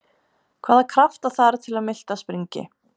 Hvaða krafta þarf til að miltað springi?